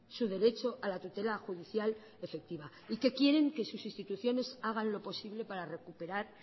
su derecho a la tutela judicial efectiva y que quieren que sus instituciones hagan lo posible para recuperar